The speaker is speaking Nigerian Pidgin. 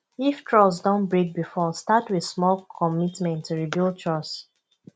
if trust don break before start with small commitment to rebuild trust